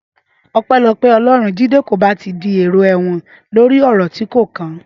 Ọpẹ́lọpẹ́ Ọlọ́run, Jídé kò bá ti dèrò ẹ̀wọ̀n lórí ọ̀rọ̀ tí kò kàn án.